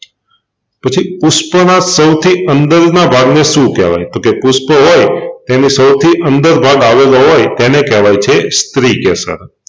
પછી પુષ્પનાં સૌથી અંદરના ભાગને શું કેહવાય? તોકે પુષ્પ હોય તેની સૌથી અંદર ભાગ આવેલો હોય તેને કેહવાય છે સ્ત્રીકેસર